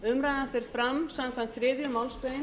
umræðan fer fram samkvæmt þriðju málsgrein